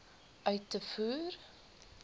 uit te voer